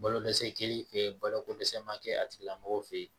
Balodɛsɛ kɛlen fe yen balo ko dɛsɛ ma kɛ a tigilamɔgɔ fe ye